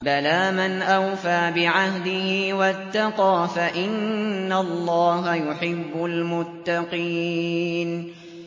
بَلَىٰ مَنْ أَوْفَىٰ بِعَهْدِهِ وَاتَّقَىٰ فَإِنَّ اللَّهَ يُحِبُّ الْمُتَّقِينَ